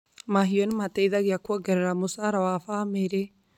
Mahiũ nĩ mateithagia kwongerera mũcara wa famĩrĩ.